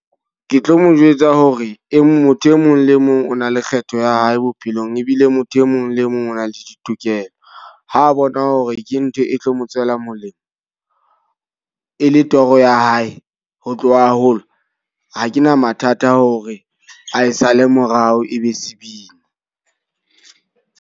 Ke tlo mo jwetsa hore e motho e mong le mong o na le kgetho ya hae bophelong. Ebile motho e mong le mong o na le ditokelo. Ha bona hore ke ntho e tlo mo tswela molemo, e le toro ya hae. Ho tloha haholo ha ke na mathata hore ae sale morao ebe sebini.